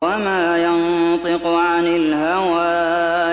وَمَا يَنطِقُ عَنِ الْهَوَىٰ